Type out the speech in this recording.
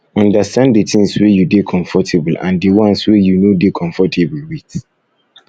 understand di things um wey you dey comfortable and di ones wey you no dey um comfortable with